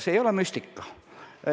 See ei ole müstika.